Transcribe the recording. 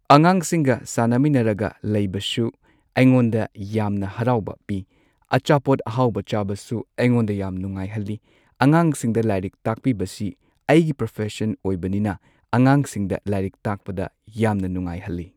ꯑꯉꯥꯡꯁꯤꯡꯒ ꯁꯥꯟꯅꯃꯤꯟꯅꯔꯒ ꯂꯩꯕꯁꯨ ꯑꯩꯉꯣꯟꯗ ꯌꯥꯝꯅ ꯍꯔꯥꯎꯕ ꯄꯤ ꯑꯆꯥꯄꯣꯠ ꯑꯍꯥꯎꯕ ꯆꯥꯕꯁꯨ ꯑꯩꯉꯣꯟꯗ ꯌꯥꯝ ꯅꯨꯡꯉꯥꯏꯍꯜꯂꯤ ꯑꯉꯥꯡꯁꯤꯡꯗ ꯂꯥꯏꯔꯤꯛ ꯇꯥꯛꯄꯤꯕꯁꯤ ꯑꯩꯒꯤ ꯄ꯭ꯔꯣꯐꯦꯁꯟ ꯑꯣꯏꯕꯅꯤꯅ ꯑꯉꯥꯡꯁꯤꯡꯗ ꯂꯥꯏꯔꯤꯛ ꯇꯥꯛꯄꯗ ꯌꯥꯝꯅ ꯅꯨꯡꯉꯥꯏꯍꯜꯂꯤ꯫